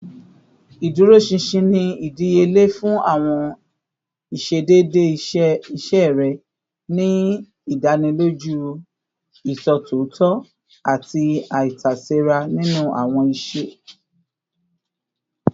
Iduroṣinṣin ni idiyele fun awọn iṣedede iṣe rẹ, ni idaniloju iṣotitọ ati aitasera ninu awọn iṣe